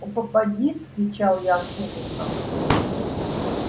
у попадьи вскричал я с ужасом